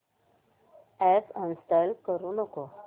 app uninstall करू नको